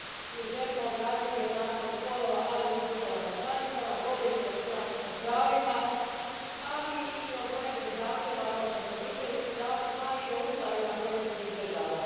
Mi želimo obraditi jednakost spolova, ali i u državama članicama, vodeći računa o pravima, ali i o pojedinim zakonima, kao što su obiteljski zakon i o ustavima pojedinih država.